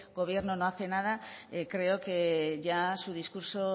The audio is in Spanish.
gobierno no hace nada creo que ya su discurso